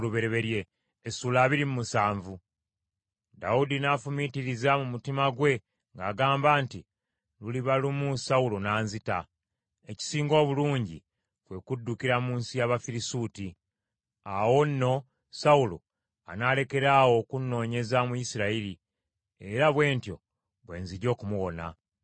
Dawudi n’afumiitiriza mu mutima gwe ng’agamba nti, “Luliba lumu Sawulo n’anzita. Ekisinga obulungi kwe kuddukira mu nsi y’Abafirisuuti. Awo nno Sawulo anaalekeraawo okunnoonyeza mu Isirayiri, era bwe ntyo bwe nzija okumuwona.”